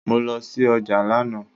Mo lọ sí ọjà lánàá